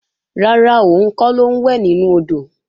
Rárá, òun kọ́ ló ń wẹ̀ nínú odò